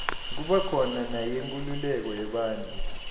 kuba khona neyenkululeko yebantfu